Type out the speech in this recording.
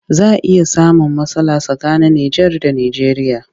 Za a iya samun matsala tsakanin Nijar da Nijeriya